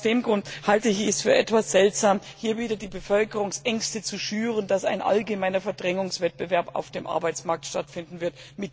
Aus dem Grund halte ich es für etwas seltsam, hier wieder die Bevölkerungsängste zu schüren, dass ein allgemeiner Verdrängungswettbewerb auf dem Arbeitsmarkt stattfinden wird.